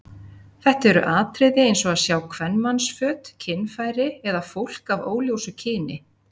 Þetta eru atriði eins og að sjá kvenmannsföt, kynfæri eða fólk af óljósu kyni.